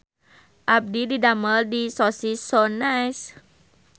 Abdi didamel di Sosis So Nice